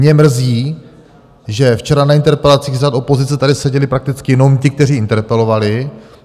Mě mrzí, že včera na interpelacích z řad opozice tady seděli prakticky jenom ti, kteří interpelovali.